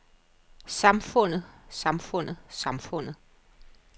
samfundet samfundet samfundet